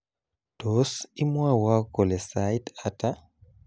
Tos, imwowo kole sait ata?